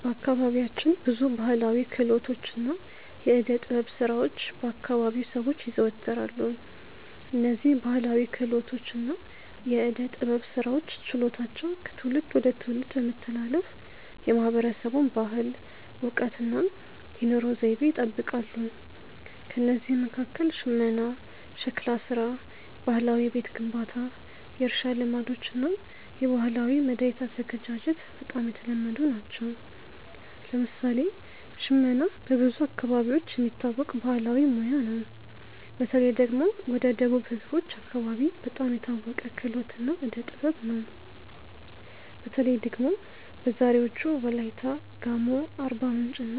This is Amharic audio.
በአካባቢያችን ብዙ ባሕላዊ ክህሎቶችና የዕደ ጥበብ ሥራዎች በ አከባቢው ሰዎች ይዘወተራሉ። እነዝህ ባህላዊ ክህሎቶች እና የዕዴ ጥበብ ስራዎች ችሎታዎች ከትውልድ ወደ ትውልድ በመተላለፍ የማህበረሰቡን ባህል፣ እውቀት እና የኑሮ ዘይቤ ይጠብቃሉ። ከእነዚህ መካከል ሽመና፣ ሸክላ ሥራ፣ ባህላዊ የቤት ግንባታ፣ የእርሻ ልማዶች እና የባህላዊ መድኃኒት አዘገጃጀት በጣም የተለመዱ ናቸው። ለምሳሌ ሽመና በብዙ አካባቢዎች የሚታወቅ ባህላዊ ሙያ ነው። በተለይ ደግሞ ወደ ደቡብ ህዝቦች አከባቢ በጣም የታወቀ ክህሎት እና ዕዴ ጥበብ ነው። በተለይ ደግሞ በዛሬዎቹ ዎላይታ፣ ጋሞ፣ አርባምንጭ እና